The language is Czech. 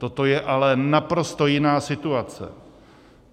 Toto je ale naprosto jiná situace.